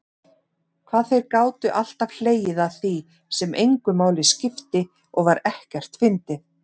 Hvað þeir gátu alltaf hlegið að því sem engu máli skipti og var ekkert fyndið.